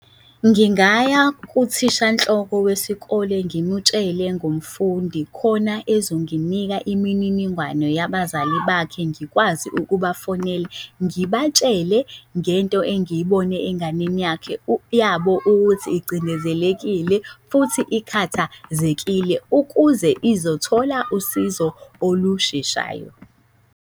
Ngingaya kuthisha nhloko wesikole ngimutshele ngumfundi khona ezonginika imininingwane yabazali bakhe ngikwazi ukubafonela ngibatshele ngento engiyibone enganeni yakhe, yabo, kuthi igcindezelekile futhi ikhathazekile ukuze izothola usizo olusheshayo.